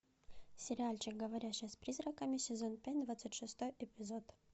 сериальчик говорящая с призраками сезон пять двадцать шестой эпизод